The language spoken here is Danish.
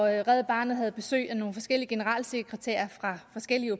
red barnet havde besøg af nogle generalsekretærer fra forskellige